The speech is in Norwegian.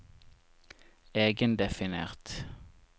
egendefinert